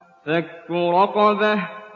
فَكُّ رَقَبَةٍ